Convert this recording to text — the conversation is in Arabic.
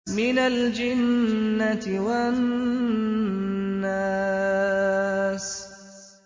مِنَ الْجِنَّةِ وَالنَّاسِ